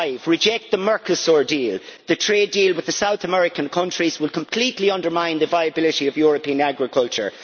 Reject the Mercosur deal. The trade deal with the South American countries will completely undermine the viability of European agriculture.